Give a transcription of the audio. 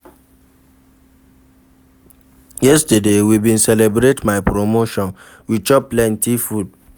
Yesterday, we bin celebrate my promotion, we chop plenty food.